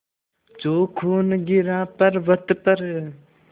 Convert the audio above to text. जो खून गिरा पवर्अत पर